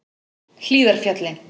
Hlíðarfjalli